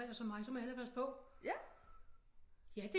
Alder som mig så må jeg hellere passe på ja det